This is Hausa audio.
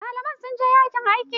Malamai sunje yajin aiki.